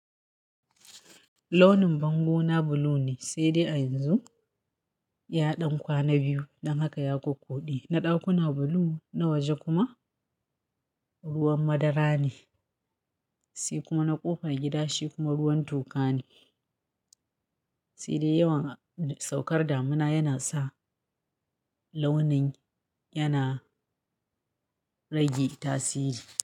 Launin bango na blue ne sai dai a yanzu ya ɗan kwana biyu ɗan haka ya kukkude. Na ɗakuna blue, na waje kuma ruwan madara ne, sai kuma na ƙofar gida shi kuma ruwan toka ne. Sai dai yawan saukar damina yana sa launin yana rage tasiri.